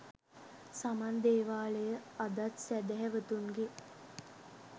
සමන් දේවාලය අදත් සැහැදැවතුන්ගේ